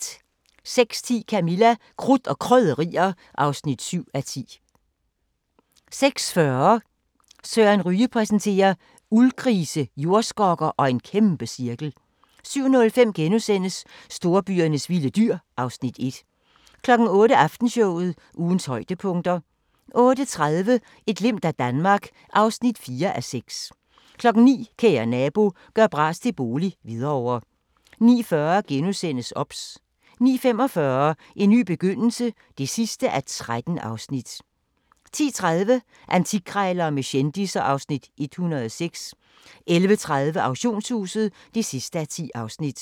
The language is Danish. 06:10: Camilla – Krudt og Krydderier (7:10) 06:40: Søren Ryge præsenterer: Uldgrise, jordskokker og en kæmpecirkel 07:05: Storbyernes vilde dyr (Afs. 1)* 08:00: Aftenshowet – ugens højdepunkter 08:30: Et glimt af Danmark (4:6) 09:00: Kære nabo – gør bras til bolig - Hvidovre 09:40: OBS * 09:45: En ny begyndelse (13:13) 10:30: Antikkrejlerne med kendisser (Afs. 106) 11:30: Auktionshuset (10:10)